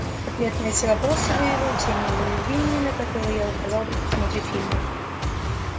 ответ на эти вопросы выявит все неуязвимые на которые я указал при просмотре фильма